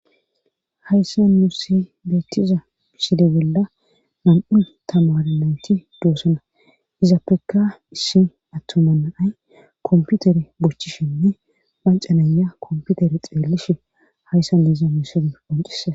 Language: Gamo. hayssa nussi beettiza mesile bolla nam7un tamare nayti dosana izapeka issi attuman naay komputere bochishinne macanaya komputer xeellishe hayssan nuna mesule qoncisa